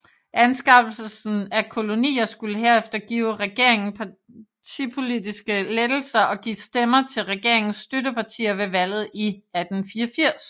Anskaffelsen af kolonier skulle herefter give regeringen partipolitiske lettelser og give stemmer til regeringens støttepartier ved valget i 1884